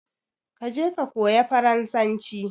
Je ka koya farasanci!